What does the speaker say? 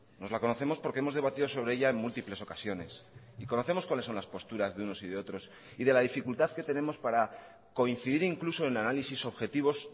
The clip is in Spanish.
nos la conocemos porque hemos debatido sobre ella en múltiples ocasiones y conocemos cuáles son las posturas de unos y de otros y de la dificultad que tenemos para coincidir incluso en análisis objetivos